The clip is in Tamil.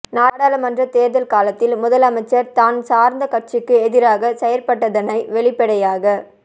நாடாளுமன்ற தேர்தல் காலத்தில் முதலமைச்சர் தான் சார்ந்த கட்சிக்கு எதிராக செயற்பட்டதனை வெளிப்படையாக